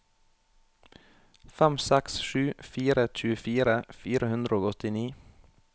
fem seks sju fire tjuefire fire hundre og åttini